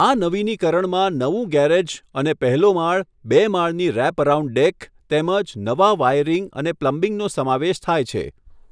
આ નવીનીકરણમાં નવું ગેરેજ અને પહેલો માળ, બે માળની રેપ અરાઉન્ડ ડેક, તેમજ નવા વાયરિંગ અને પ્લમ્બિંગનો સમાવેશ થાય છે.